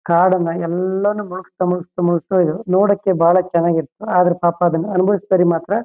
ಕಾಡನ್ನ ಎಲ್ಲನು ಮುಲಗಸ್ತ ಮುಲಗಸ್ತ ಮುಲಗಸ್ತ ನೋಡಕ್ಕೆ ಬಾಳ ಚೆನ್ನಾಗಿತ್ತು. ಆದ್ರೆ ಅದನ್ನ ಪಾಪಾ ಅದನ್ನ ಅಂಬಾವಿಸದರಿಗೆ ಮಾತ್ರ--